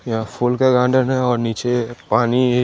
यहाँ फूल का गार्डन है और निचे पानी--